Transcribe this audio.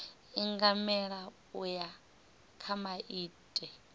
ingamela u ya kha maitele